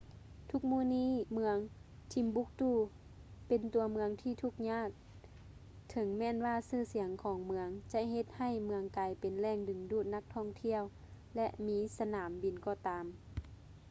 ທຸກມື້ນີ້ ເມືອງ timbuktu ເປັນຕົວເມືອງທີ່ທຸກຍາກ ເຖິງແມ່ນວ່າຊື່ສຽງຂອງເມືອງຈະເຮັດໃຫ້ເມືອງກາຍເປັນແຫຼ່ງດຶງດູດນັກທ່ອງທ່ຽວ ແລະ ມີສະໜາມບິນກໍຕາມ